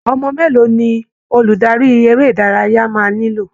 Ọmọ mélòó ni olùdarí eré ìdárayá máa nílò!